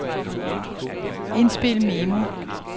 indspil memo